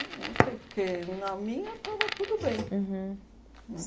Eu não sei, porque na minha estava tudo bem. Uhum.